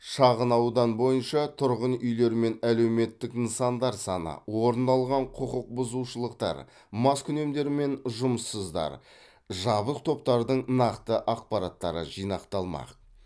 шағынаудан бойынша тұрғын үйлермен әлеуметтік нысандар саны орын алған құқықбұзушылықтар маскүнемдер мен жұмыссыздар жабық топтардың нақты ақпараттары жинақталмақ